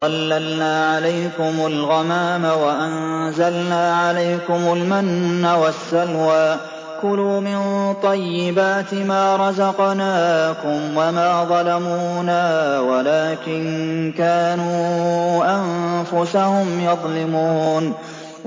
وَظَلَّلْنَا عَلَيْكُمُ الْغَمَامَ وَأَنزَلْنَا عَلَيْكُمُ الْمَنَّ وَالسَّلْوَىٰ ۖ كُلُوا مِن طَيِّبَاتِ مَا رَزَقْنَاكُمْ ۖ وَمَا ظَلَمُونَا وَلَٰكِن كَانُوا أَنفُسَهُمْ يَظْلِمُونَ